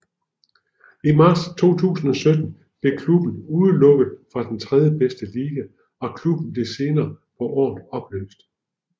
I marts 2017 blev klubben udelukket fra den tredjebedste liga og klubben blev senere på året opløst